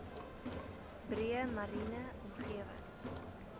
breë mariene omgewing